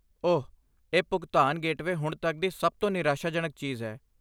ਓਹ, ਇਹ ਭੁਗਤਾਨ ਗੇਟਵੇ ਹੁਣ ਤੱਕ ਦੀ ਸਭ ਤੋਂ ਨਿਰਾਸ਼ਾਜਨਕ ਚੀਜ਼ ਹੈ।